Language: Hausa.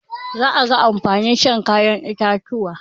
Za a ga amfanin shan kayan itatuwa.